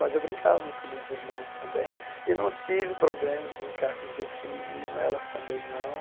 Mas eu brincava muito com minhas irmãs também, e não tive problema de brincar com brinquedo feminino, elas também não.